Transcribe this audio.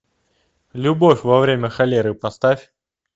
любовь во время холеры поставь